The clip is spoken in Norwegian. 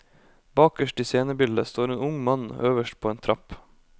Bakerst i scenebildet står en ung mann øverst på en trapp.